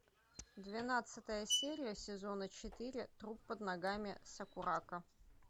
двенадцатая серия сезона четыре труп под ногами сакурако